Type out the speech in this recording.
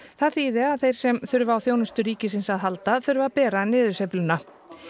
það þýði að þeir sem þurfi á þjónustu ríkisins að halda þurfi að bera niðursveifluna